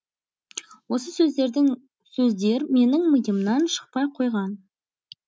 осы сөздердің сөздер менің миымнан шықпай қойған